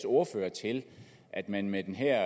ordfører til at man med den her